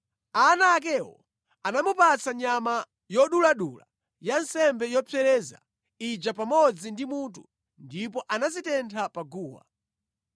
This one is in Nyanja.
Ana akewo anamupatsa nyama yoduladula ya nsembe yopsereza ija pamodzi ndi mutu ndipo anazitentha pa guwa.